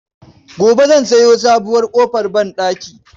Gobe zan sayo sabuwar ƙofar banɗaki.